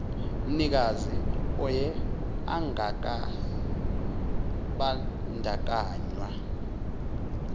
mnikazi oye akangabandakanywa